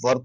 બળ